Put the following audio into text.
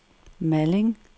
Malling